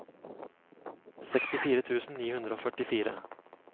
sekstifire tusen ni hundre og førtifire